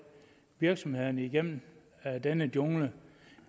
virksomhederne igennem denne jungle